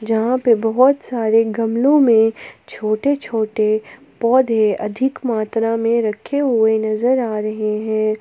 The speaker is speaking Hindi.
जहा पे बहुत सारे गमलो में छोटे छोटे पौधे अधिक मात्रा में रखे हुए नजर आ रहे है।